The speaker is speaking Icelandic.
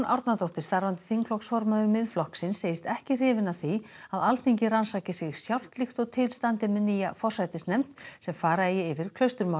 Árnadóttir starfandi þingflokksformaður Miðflokksins segist ekki hrifin af því að Alþingi rannsaki sig sjálft líkt og til standi með nýja forsætisnefnd sem fara eigi yfir